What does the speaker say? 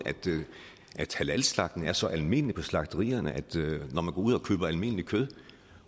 at halalslagtning er så almindeligt på slagterierne at når man går ud og køber almindeligt kød